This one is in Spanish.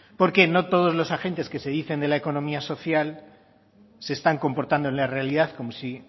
porque no todos los agentes que se dicen de la economía social se están comportando en la realidad